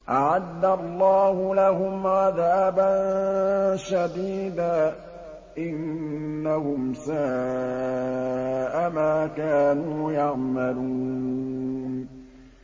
أَعَدَّ اللَّهُ لَهُمْ عَذَابًا شَدِيدًا ۖ إِنَّهُمْ سَاءَ مَا كَانُوا يَعْمَلُونَ